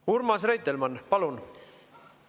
Urmas Reitelmann, palun!